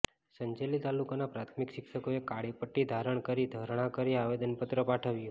સંજેલી તાલુકાના પ્રાથમિક શિક્ષકોએ કાળી પટ્ટી ધારણ કરી ધરણા કરી આવેદનપત્ર પાઠવ્યું